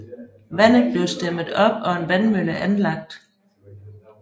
Vandet blev stemmet op og en vandmølle anlagt